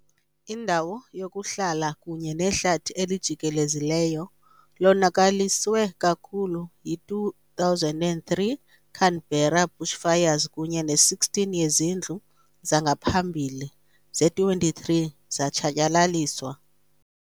Indawo yokuhlala kunye nehlathi elijikelezileyo lonakaliswe kakhulu yi- 2003 Canberra bushfires kunye ne-16 yezindlu zangaphambili ze-23 zatshatyalaliswa.